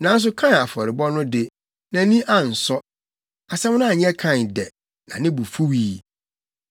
Nanso Kain afɔrebɔ no de, nʼani ansɔ. Asɛm no anyɛ Kain dɛ, na ne bo fuwii.